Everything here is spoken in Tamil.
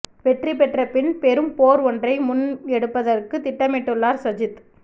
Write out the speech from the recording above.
வெற்றி பெற்ற பின் பெரும் போர் ஒன்றை முன்னெடுப்பதற்குத் திட்டமிட்டுள்ளார் சஜித்